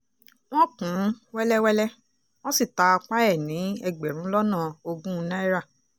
wọ́n kùn ún wẹ́lẹ́wẹ́lẹ́ wọ́n sì ta apá ẹ̀ ní ẹgbẹ̀rún lọ́nà ogún náírà